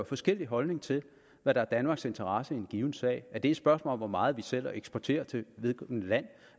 forskellige holdninger til hvad der er danmarks interesse i en given sag er det et spørgsmål om hvor meget vi sælger og eksporterer til vedkommende land